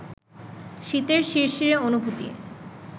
শীতের শিরশিরে অনুভূতি